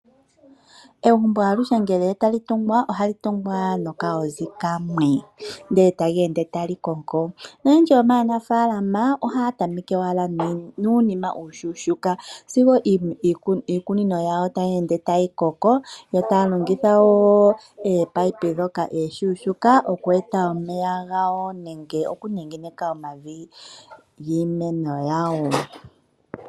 Egumbo aluhe ngele tali tungwa ohali kunwa nokalozi kamwe ndele tali ende tali koko. Oyendji yomaanafaalama ohaya tameke owala nuunima uushushuka sigo iikunino yawo tayi ende tayi koko, yo taya longitha wo ominino dhoka eshushuka oku eta omeya gawo nenge okunengeneka omavi giimano yawo.